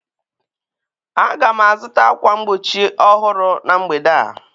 Aga m azụta ákwà mgbochi ọhụrụ na mgbede a